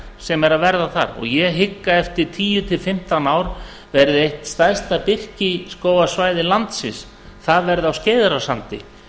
sem er að verða þar og ég hygg að eftir tíu til fimmtán ár verði eitt stærsta birkiskógarsvæði landsins á skeiðarársandi